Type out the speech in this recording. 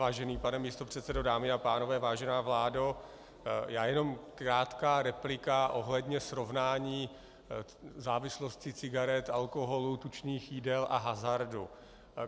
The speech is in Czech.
Vážený pane místopředsedo, dámy a pánové, vážená vládo, já jenom krátká replika ohledně srovnání závislosti cigaret, alkoholu, tučných jídel a hazardu.